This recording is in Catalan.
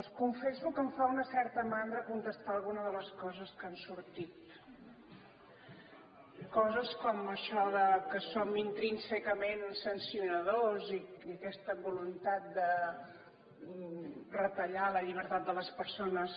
els confesso que em fa una certa mandra contestar alguna de les coses que han sortit coses com això que som intrínsecament sancionadors i aquesta voluntat de retallar la llibertat de les persones